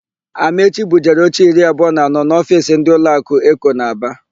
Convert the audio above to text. Amaechi bujere oche iri abụọ na anọ n'ofiisi ndị ụlọakụ Eko nọ n'Aba.